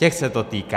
Těch se to týká.